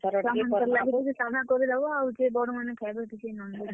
ଛୁଆ ମାନଙ୍କର୍ ଲାଗି ଟିକେ ସାଧା କରିଦେବ । ଆଉ ବଡ ମାନେ ଖାଏବେ ଟିକେ non-veg ।